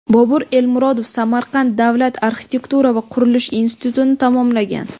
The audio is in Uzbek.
Bobur Elmurodov Samarqand davlat arxitektura va qurilish institutini tamomlagan.